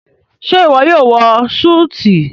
ṣe iwọ yóò wọ Súìtì?